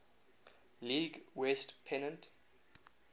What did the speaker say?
league west pennant